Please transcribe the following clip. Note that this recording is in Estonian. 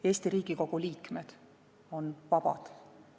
Eesti Riigikogu liikmed on vabad.